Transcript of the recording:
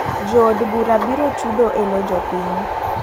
Jo od bura biro chudo elo jopiny.